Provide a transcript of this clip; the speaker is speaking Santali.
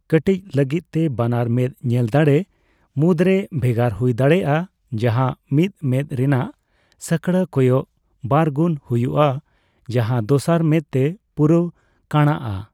ᱠᱟᱴᱤᱪ ᱞᱟᱹᱜᱤᱫ ᱛᱮ, ᱵᱟᱱᱟᱨ ᱢᱮᱫᱽ ᱧᱮᱞ ᱫᱟᱲᱮ ᱢᱩᱫᱨᱮ ᱵᱷᱮᱜᱟᱨ ᱦᱩᱭ ᱫᱟᱲᱮᱭᱟᱜᱼᱟ ᱡᱟᱸᱦᱟ ᱢᱤᱫ ᱢᱮᱫᱽ ᱨᱮᱱᱟᱜ ᱥᱟᱠᱲᱟ ᱠᱚᱭᱚᱜ ᱵᱟᱨᱜᱩᱱ ᱦᱩᱭᱩᱜᱼᱟ ᱡᱟᱸᱦᱟ ᱫᱚᱥᱟᱨ ᱢᱮᱫᱽ ᱛᱮ ᱯᱩᱨᱟᱹᱣ ᱠᱟᱸᱬᱟᱜᱼᱟ ᱾